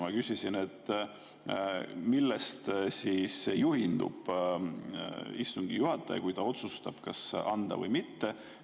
Ma küsisin, millest juhindub istungi juhataja, kui ta otsustab, kas anda või mitte.